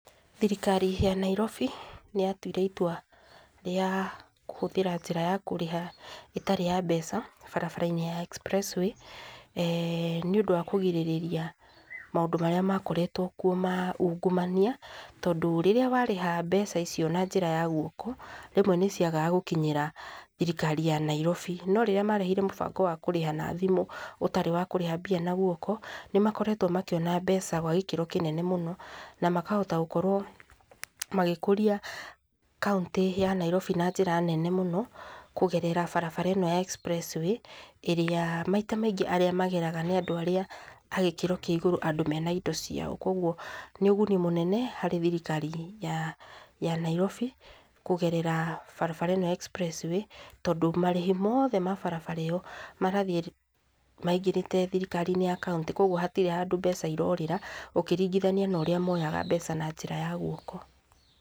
Thirikari ya Nairobi, nĩ yatuire itwa rĩa kũhũthĩra njĩra ya kũrĩha ĩtarĩ ya mbeca, barabara-inĩ ya Express Way, eeh nĩ ũndũ wa kũgirĩrĩria maũndũ marĩa makoretwo kuo ma ungumania, tondũ rĩrĩa warĩha mbeca icio na njĩra ya guoko, rĩmwe nĩ ciagaga gũkinyĩra thirikari ya Nairobi, no rĩrĩa marehire mũbango wa kũrĩhaga na thimũ, ũtarĩ wa kũrĩha mbia na guoko, nĩmakoretwo makĩona mbeca gwa gĩkĩro kĩnene mũno, na makahota gũkorwo magĩkũria kauntĩ ya Nairobi na njĩra nene mũno, kũgerera barabara ĩno ya Express Way, ĩrĩa maita maingĩ arĩa mageraga nĩ andũ arĩa agĩkĩro kĩa igũrũ, andũ mena indo ciao, kwoguo nĩ ũguni mũnene, harĩ thirikari ya ya Nairobi, kũgerera barabara-ĩno ya Express Way, tondũ marĩhi mothe ma barabara ĩyo, marathiĩ maingĩrĩte thirikari-inĩ ya kauntĩ, kwoguo hatirĩ handũ mbeca irorĩra, ũkĩringithania norĩa moyaga mbeca na njĩra ya guoko.